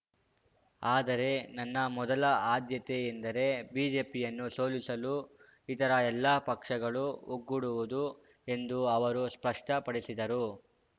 ಆದರೆ ನನ್ನ ಮೊದಲ ಆದ್ಯತೆ ಎಂದರೆ ಬಿಜೆಪಿಯನ್ನು ಸೋಲಿಸಲು ಇತರ ಎಲ್ಲ ಪಕ್ಷಗಳು ಒಗ್ಗೂಡುವುದು ಎಂದು ಅವರು ಸ್ಪಷ್ಟಪಡಿಸಿದರು